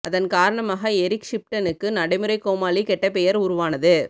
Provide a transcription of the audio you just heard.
அதன் காரணமாக எரிக் ஷிப்டனுக்கு நடைமுறை கோமாளி கெட்ட பெயர் உருவானது